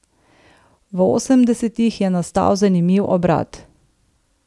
V osemdesetih je nastal zanimiv obrat.